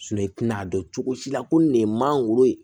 i tina a dɔn cogo si la ko nin ye mangoro ye